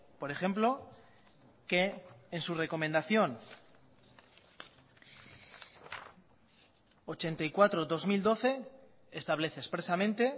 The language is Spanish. por ejemplo que en su recomendación ochenta y cuatro barra dos mil doce establece expresamente